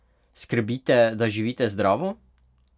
Skrbite, da živite zdravo?